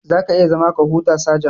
Za ka iya zama ka huta, sajan.